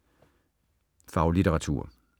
Faglitteratur